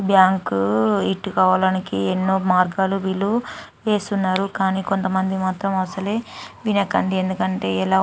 Bank అవ్వటానికి ఎన్నో మార్గాలు వీలు వేస్తున్నారు. కానీ కొంత మంది మాత్రం అసలే వినకండి.ఎందుకంటే ఎలా--